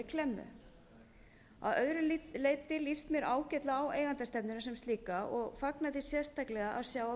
klemmu að öðru leyti líst mér ágætlega á eigendastefnuna sem slíka og fagna því sérstaklega að sjá að